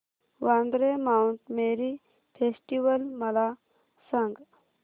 Vandre Mount Mary festival मला सांग